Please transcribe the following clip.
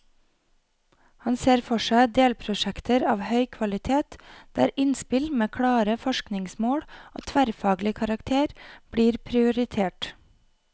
Han ser for seg delprosjekter av høy kvalitet, der innspill med klare forskningsmål og tverrfaglig karakter blir prioritert.